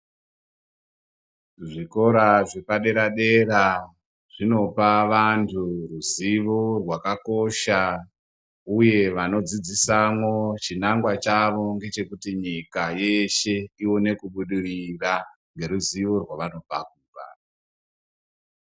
Zvikora zvepadera dera zvinopa vantu ruzivo rwakakosha uye vanodzidzisamo chinangwa chawo ndechekuti nyika yeshe ioine kubudirira neruzivo rwavanopa kuvantu.